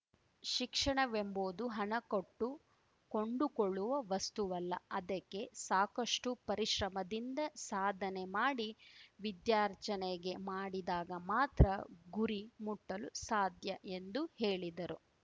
ಶಿಕ್ಷಣವೆಂಬುದು ಹಣ ಕೊಟ್ಟು ಕೊಂಡುಕೊಳ್ಳುವ ವಸ್ತುವಲ್ಲ ಅದಕ್ಕೆ ಸಾಕಷ್ಟುಪರಿಶ್ರಮದಿಂದ ಸಾಧನೆ ಮಾಡಿ ವಿದ್ಯಾರ್ಜನೆಗೆ ಮಾಡಿದಾಗ ಮಾತ್ರ ಗುರಿ ಮುಟ್ಟಲು ಸಾಧ್ಯ ಎಂದು ಹೇಳಿದರು